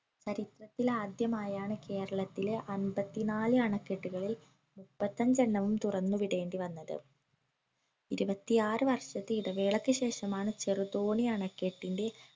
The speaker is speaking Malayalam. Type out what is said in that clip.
ചരിത്രത്തിലാദ്യമായാണ് കേരളത്തിലെ അമ്പത്തിനാല് അണക്കെട്ടുകളിൽ മുപ്പത്തഞ്ചണ്ണവും തുറന്നു വിടേണ്ടി വന്നത് ഇരുവത്തിയാറ്‌ വർഷത്തെ ഇടവേളയ്ക്ക് ശേഷമാണ് ചെറുതോണി അണക്കെട്ടിന്റെ